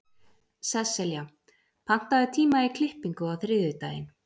Sesselja, pantaðu tíma í klippingu á þriðjudaginn.